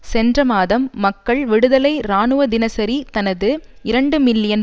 சென்ற மாதம் மக்கள் விடுதலை இராணுவ தினசரி தனது இரண்டு மில்லியன்